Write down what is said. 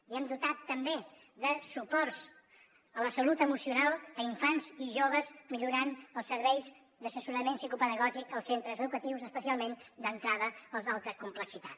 i hem dotat també de suports a la salut emocional a infants i joves millorant els serveis d’assessorament psicopedagògic als centres educatius especialment d’entrada als d’alta complexitat